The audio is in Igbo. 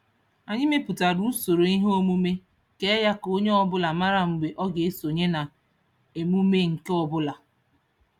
Anyị mepụtara usoro ihe omume kee ya ka onye ọbụla mara mgbe ọ ga-esonye na emume nke ọbụla.